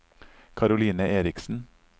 Caroline Erichsen